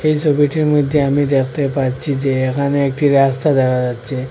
এই ছবিটির মধ্যে আমি দেখতে পাচ্ছি যে এখানে একটি রাস্তা দেখা যাচ্ছে।